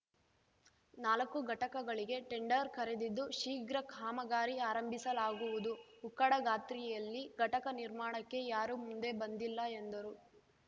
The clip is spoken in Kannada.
ನಾಲಕ್ಕು ಘಟಕಗಳಿಗೆ ಟೆಂಡರ್‌ ಕರೆದಿದ್ದು ಶೀಘ್ರ ಕಾಮಗಾರಿ ಆರಂಭಿಸಲಾಗುವುದು ಉಕ್ಕಡಗಾತ್ರಿಯಲ್ಲಿ ಘಟಕ ನಿರ್ಮಾಣಕ್ಕೆ ಯಾರೂ ಮುಂದೆ ಬಂದಿಲ್ಲ ಎಂದರು